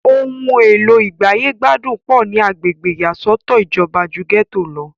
ohun èlò ìgbáyégbádùn pọ̀ ní agbègbè ìyàsọ́tọ̀ ìjọba ju gẹ́tò lọ